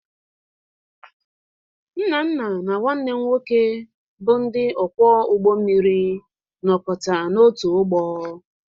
Nnanna na nwanne m nwoke bụ ndị ọkwọ ụgbọ mmiri nọkọta n'otu ụgbọ.